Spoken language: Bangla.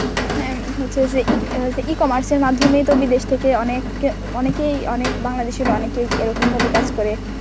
হ্যাঁ হচ্ছে যে একো~ E-comers এর মাধ্যমেই তো বিদেশ থেকে অনেক অনেকেই অনেক বাংলাদেশের অনেকেই এরকম ভাবে কাজ করে.